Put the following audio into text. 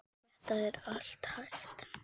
Þetta er allt hægt.